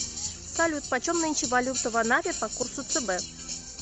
салют почем нынче валюта в анапе по курсу цб